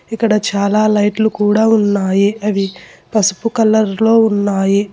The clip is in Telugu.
ఇక్కడ చాలా లైట్లు కూడా ఉన్నాయి అవి పసుపు కలర్ లో ఉన్నాయి.